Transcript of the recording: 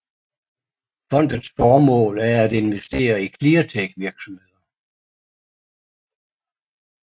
Fondets formål er at investere i cleantechvirksomheder